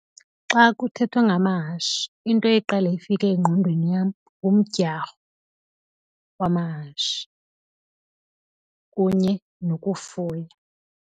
Xa kuthethwa ngamahashi into eqale ifike engqondweni yam ngumdyarho wamahashi kunye nokufuya.